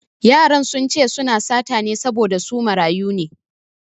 Yaran sun ce su na sata ne saboda su marayu ne